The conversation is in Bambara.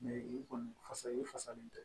i kɔni fa i fasalen tɛ